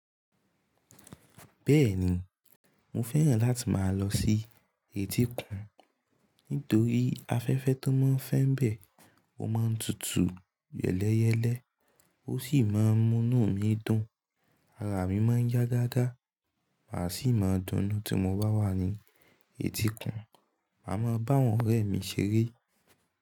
Bẹ́ẹ̀ni, mo fẹ́ràn láti máa lọ sí etíkun. Nítorí afẹ́fẹ́ tó máa ń fẹ́ bẹ̀, ó máa ń tutù yẹ́lẹyẹ́lẹ́, ó sì máa ń mú inú mi dùn, ara mi máa ń yá gágá, màá sì máa dunnú tí mo bá wà ní etíkun, màá máa bá àwọn ọ̀rẹ́ mi ṣeré.